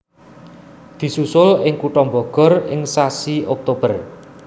Disusul ing kutha Bogor ing sasi Oktober